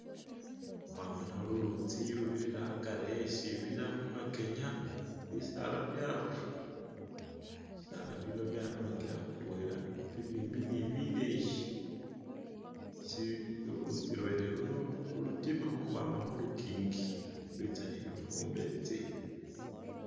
Khwabona lulitsi lubirira agari wesibila khumakenya bisala byarura! bisala bino byarurira khutwela bibimbi ni bileyi ulutsi lwene luno lutima khukhwama khulukingi, lwitsa ne lufubetsi.